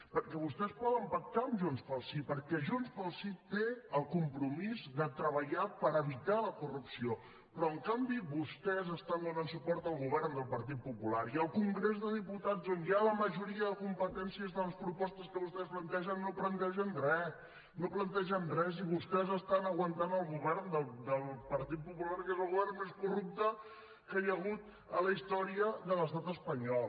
perquè vostès poden pactar amb junts pel sí perquè junts pel sí té el compromís de treballar per evitar la corrupció però en canvi vostès estan donant suport al govern del partit popular i al congrés de diputats on hi ha la majoria de competències de les propostes que vostès plantegen no plantegen re no plantegen res i vostès estan aguantant el govern del partit popular que és el govern més corrupte que hi ha hagut a la història de l’estat espanyol